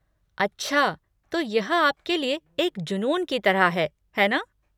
अच्छा, तो यह आपके लिए एक जुनून की तरह है, है ना?